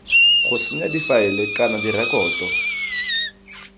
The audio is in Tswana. go senya difaele kana direkoto